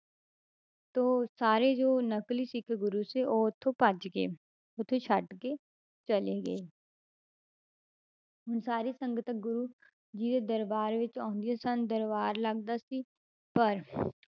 ਤਾਂ ਸਾਰੇ ਜੋ ਨਕਲੀ ਸਿੱਖ ਗੁਰੂ ਸੀ ਉਹ ਉੱਥੋਂ ਭੱਜ ਗਏ ਉੱਥੇ ਛੱਡ ਕੇ ਚਲੇ ਗਏ ਹੁਣ ਸਾਰੀ ਸੰਗਤ ਗੁਰੂ ਜੀ ਦੇ ਦਰਬਾਰ ਵਿੱਚ ਆਉਂਦੀਆਂ ਸਨ ਦਰਬਾਰ ਲੱਗਦਾ ਸੀ ਪਰ